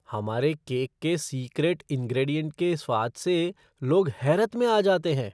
हमारे केक के secret ingredient के स्वाद से लोग हैरत में आ जाते हैं।